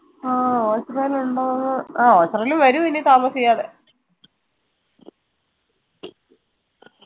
ആഹ് ഒച്ചറെൽ ഇണ്ടോന്ന് ആഹ് ഒച്ചറെൽ വെരും ഇനി താമസിയാതെ